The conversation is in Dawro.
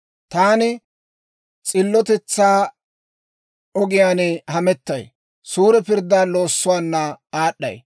Taani s'illotetsaa ogiyaan hamettay; suure pirddaa loossuwaana aad'ay.